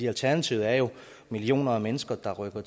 alternativet er jo millioner af mennesker der rykker